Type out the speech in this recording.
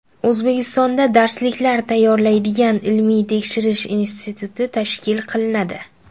O‘zbekistonda darsliklar tayyorlaydigan ilmiy-tekshirish instituti tashkil qilinadi.